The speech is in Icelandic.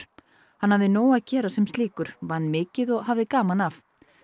hann hafði nóg að gera sem slíkur vann mikið og hafði gaman af